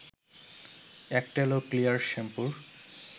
Aktel ও Clear শ্যাম্পুর